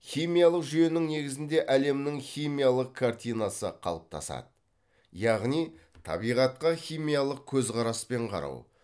химиялық жүйенің негізінде әлемнің химиялық картинасы қалыптасады яғни табиғатқа химиялық көзқараспен қарау